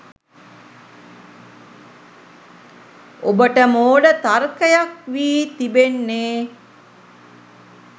ඔබට මෝඩ තර්කයක් වී තිබෙන්නේ